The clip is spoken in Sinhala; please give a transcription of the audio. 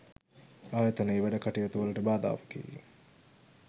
ආයතනයේ වැඩ කටයුතු වලට බාධාවකි.